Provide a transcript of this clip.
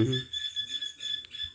qolofta mooska waxaa loo isticmaali.